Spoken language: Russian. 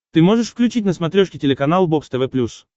ты можешь включить на смотрешке телеканал бокс тв плюс